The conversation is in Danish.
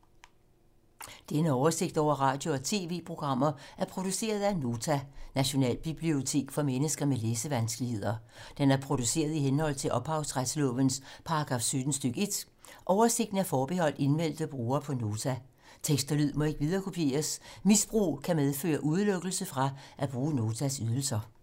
Denne oversigt over radio og TV-programmer er produceret af Nota, Nationalbibliotek for mennesker med læsevanskeligheder. Den er produceret i henhold til ophavsretslovens paragraf 17 stk. 1. Oversigten er forbeholdt indmeldte brugere på Nota. Tekst og lyd må ikke viderekopieres. Misbrug kan medføre udelukkelse fra at bruge Notas ydelser.